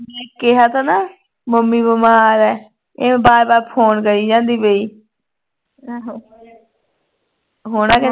ਮੈਂ ਕਿਹਾ ਥਾ ਨਾ ਮੰਮੀ ਬਿਮਾਰ ਐ ਇਹ ਬਾਰ ਬਾਰ phone ਕਰਿ ਜਾਂਦੀ ਪਈ ਹੁਣ